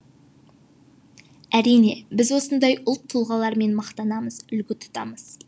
әрине біз осындай ұлт тұлғалармен мақтанамыз үлгі тұтамыз